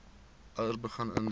ouers begin indien